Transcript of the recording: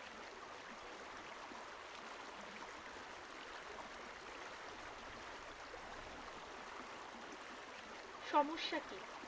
সমস্যা কি